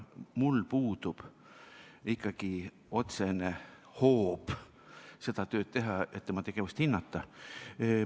Mul puudub ikkagi otsene hoob seda tööd teha, et tema tegevust hinnata.